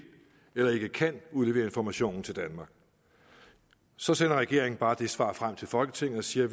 eller ikke kan udlevere informationen til danmark så sender regeringen bare det svar frem til folketinget og siger at